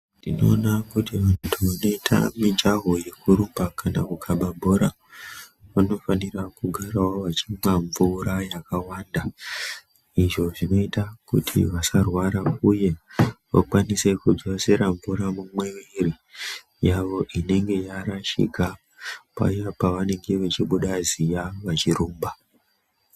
Tinowona kuti vantu vanoita mijaho yekuwuruka, kana kukava bhora vanofanira kugara vachinwa mvura yakawanda, izvo zvinoita kuti vasarwara uye vakwanise kudzosera mvura mumuiri yavo inenge yarashika paya pavanenge vechibuda ziya vechirumba.